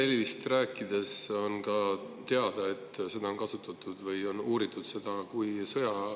Infrahelist rääkides on ka teada, et seda on kasutatud või on uuritud kui sõjarelva.